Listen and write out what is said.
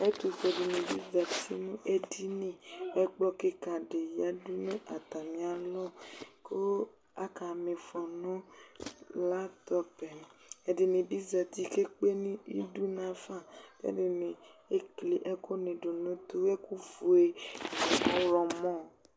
Ɛtʋ fue tsɩ dɩ zati nʋ edini Ɛkplɔ kɩka dɩ yǝdu nʋ atamɩalɔ Kʋ aka mɩfɔ nʋ latɔpɛƐdɩnɩ bɩ zati ke kpe idu nafa, ɛdɩnɩ ekli ɛkʋ nɩ dʋ nʋtʋ ,ɛkʋ fue nʋ ɔɣlɔmɔ